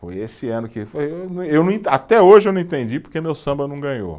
Foi esse ano que eu não, até hoje eu não entendi porque meu samba não ganhou.